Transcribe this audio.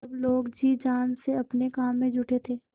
सब लोग जी जान से अपने काम में जुटे थे